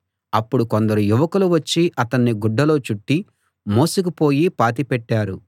అప్పుడు కొందరు యువకులు వచ్చి అతణ్ణి గుడ్డలో చుట్టి మోసుకుపోయి పాతిపెట్టారు